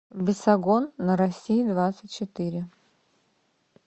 бесогон на россии двадцать четыре